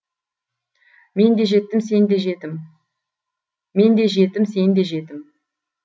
мен де жетім сен де жетім мен де жетім сен де жетім